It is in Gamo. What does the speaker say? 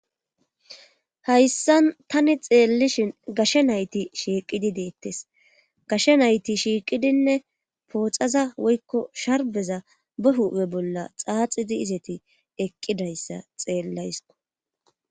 hayssan tani xeellishin gashe nayti shiiqidi deettes gashe nayti shiiqidinne pooxaza woykko sharbeza ba huphe bolla xaaxidi izeti eqqidayssa xeellayisko